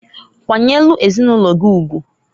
Kwanyelu ezinulogi ugwuǃ